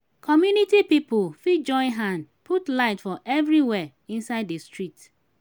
community pipo fit join hand put light for everywhere inside di street